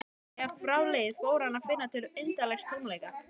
Þegar frá leið fór hann að finna til undarlegs tómleika.